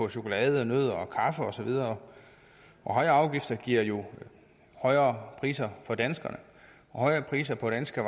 chokolade nødder kaffe og så videre højere afgifter giver jo højere priser for danskerne og højere priser på danske